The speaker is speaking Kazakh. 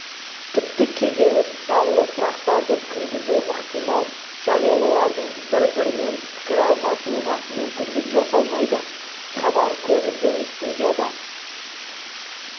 тіпті кейде даулы сұрақтарды кіргізуі ықтимал және олардың бір-бірімен пікір алысуына мүмкіндік жасалмайды хабар көбінде студияда